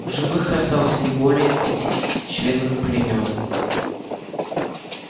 в живых осталось не более пятидесяти членов племён